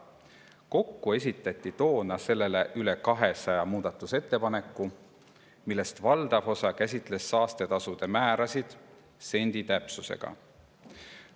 Kokku esitati toona selle kohta üle 200 muudatusettepaneku, millest valdav osa käsitles saastetasude määrasid sendi täpsusega.